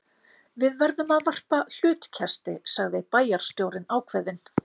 Við verðum að varpa hlutkesti sagði bæjarstjórinn ákveðinn.